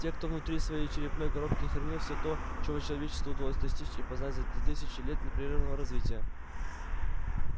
те кто внутри своей черепной коробки хранил всё то чего человечеству удалось достичь и познать за тысячи лет непрерывного развития